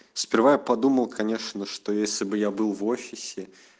сперва я подумал конечно что если бы я был в офисе